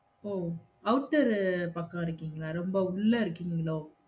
ஓ outer ரு பக்கம் இருகிங்கலா? ரொம்ப உள்ள இருக்கீங்களோ?